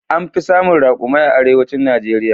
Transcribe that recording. An fi samun raƙumai a arewacin Najeriya.